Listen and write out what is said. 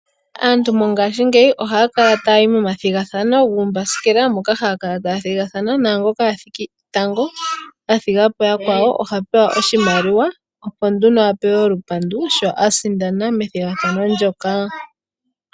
Aantu mongashingeyi ohaya kala taya ningi omathigathano guumbasikela moka haya kala taya thigathana, naangoka a thiki tango a thiga po yakwawo oha pewa oshimaliwa olupandu sho a sindana methigathano ndyoka.